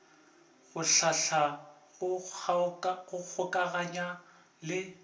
go hlahla go kgokaganya le